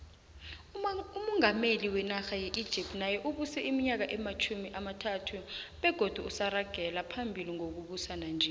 umungameli wenarha ye egypt naye ubuse iminyaka ematjhumi amathathubegodu usaragela phambili ngokubusa nanje